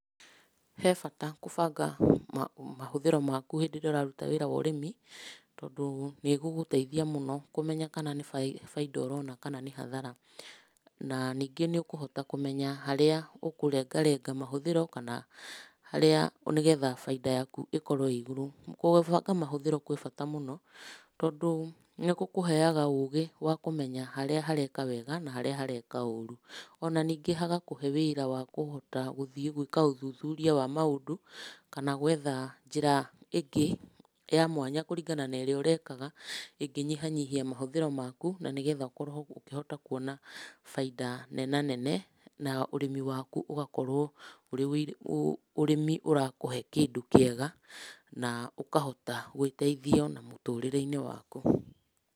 He bata gũbanga mahũthĩro maku hindĩ ĩrĩa ũrarũta wĩra wa ũrĩmi tondũ nĩ ĩgũgũteithia mũno kũmenya kana nĩ bainda ũrona kana nĩ hathara na ningĩ nĩũkũhota kũmenya harĩa ũkũrenga renga mahũthĩro kana harĩa, nĩgetha bainda yaku ikorwo ĩiguru mũno, gũbanga mahũthĩro kwĩ bata mũno tondũ nĩgũkũheaga ũgĩ wa kũmenya harĩa hareka wega na harĩa hareka ũrũ. Ona ningĩ hagakũhe wĩra wa kũhota gũthiĩ gwĩka ũthuthuria wa maũndũ kana gwetha njĩra ingĩ ya mwanya kũringana na ĩrĩa ũrekaga ingĩnyihanyihia mahũthĩro maku na nĩgetha ũkorwo ũkĩhota kũona bainda nenanene na ũrĩmi waku ũgakorwo ũrĩ ũrĩmi ũrakũhe kindũ kĩega na ũkahota gwĩteithia ona mũtũrire-inĩ waku.